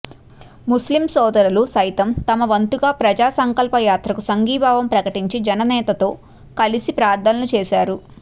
ముస్లిం సోదరులు సైతం తమ వంతుగా ప్రజాసంకల్పయాత్రకు సంఘీభావం ప్రకటించి జననేతతో కలిసి ప్రార్థనలు చేశారు